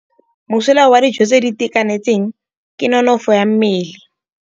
Mosola wa dijô tse di itekanetseng ke nonôfô ya mmele.